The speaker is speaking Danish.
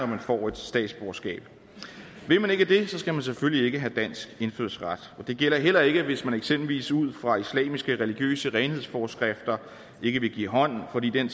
man får et statsborgerskab vil man ikke det skal man selvfølgelig ikke have dansk indfødsret det gælder heller ikke hvis man eksempelvis ud fra islamiske religiøse renhedsforskrifter ikke vil give hånd fordi den